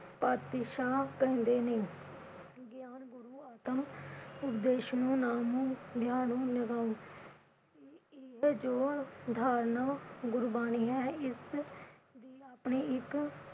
ਪਾਤਸ਼ਾਹ ਕੰਡੇ ਨੀ। ਅਗਿਆਨ ਗੁਰੂ ਉਪਦੇਸ਼ ਨੂੰ ਇਹ ਜੋ ਧਾਰਨਾ ਗੁਰਬਾਣੀ ਹੈ ਇਸ ਦੀ ਆਪਣੀ ਇਕ